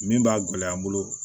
Min b'a gɛlɛya n bolo